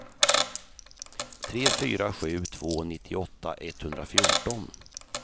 tre fyra sju två nittioåtta etthundrafjorton